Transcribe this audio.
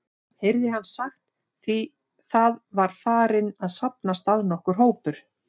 heyrði hann sagt, því það var farinn að safnast að nokkur hópur.